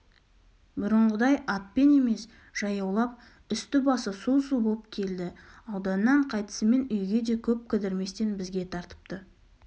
бұрынғыдай атпен емес жаяулап үсті-басы су-су боп келді ауданнан қайтысымен үйге де көп кідірместен бізге тартыпты